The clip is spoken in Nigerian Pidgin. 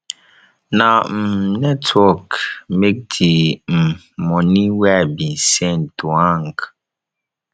na um network make di um moni wey i bin send to hang